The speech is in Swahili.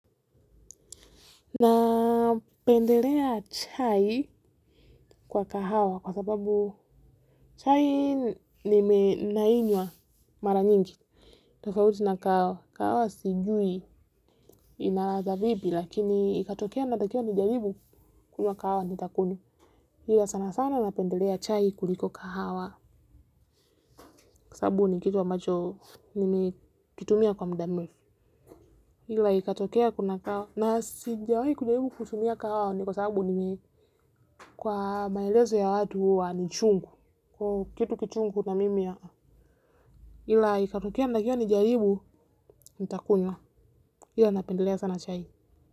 Na pendelea chai kwa kahawa kwa sababu chai nime nainywa mara nyingi. Tafauti na kahawa sijui inaladha vipi lakini ikatokea natakiwa nijalibu kunywa kahawa nitakunywa. Hila sana sana napendelea chai kuliko kahawa kwa sababu ni kitu ambacho nimi ukitumia kwa mda mil. Ilai katokea kuna kao naa si njawahi kujaribu kusumiya kao ni kosa abu ni ngei kwa bailezo ya wadu wa ni chungu kitu kichungu na mimi yaa ilai katokea ndakia nijaribu nita kunywa ila napendelea sana chai.